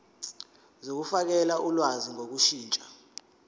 zokufakela ulwazi ngokushintsha